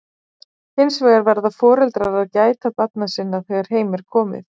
hins vegar verða foreldrar að gæta barna sinna þegar heim er komið